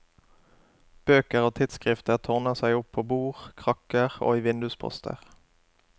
Bøker og tidsskrifter tårner seg opp på bord, krakker og i vindusposter.